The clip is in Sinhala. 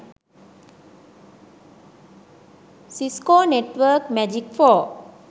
cisco network magic pro